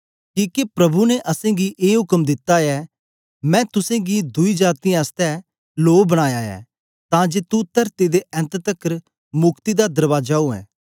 किके प्रभु ने असेंगी ए उक्म दित्ता ऐ मैं तुसेंगी दुई जातीयें आसतै लो बनाया ऐ तां जे तुं तरती दे ऐन्त तकर मुक्ति दा दरबाजा उवै